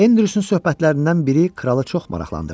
Enrin söhbətlərindən biri kralı çox maraqlandırdı.